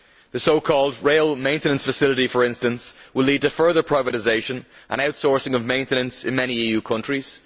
The so called rail maintenance facility, for instance, will lead to further privatisation and outsourcing of maintenance in many EU countries.